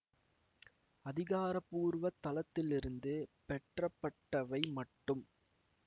அதிகாரபூர்வ தளத்திலிருந்து பெற்றப்பட்டவை மட்டும்